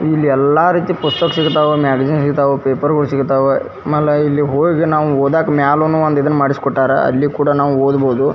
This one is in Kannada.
ಇಲ್ಲಿ ಎಲ್ಲ ರೀತಿ ಪುಸ್ತಕ ಸಿಗ್ತವು ಮ್ಯಾಗಜಿನ್ ಸಿಗ್ತವು ಪೇಪರ್ಗಳು ಸಿಗ್ತವು ಆಮೇಲೆ ಇಲ್ಲಿ ಹೋಗಿ ಓದಾಕ ಮ್ಯಾಲೆ ಇದ್ ಮಾಡಿ ಕೊಟ್ಯಾರ ಅಲ್ಲಿ ಕೂಡ ನಾವು ಓದಬಹುದು.